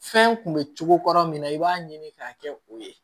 Fɛn kun bɛ cogo kɔrɔ min na i b'a ɲini k'a kɛ u ye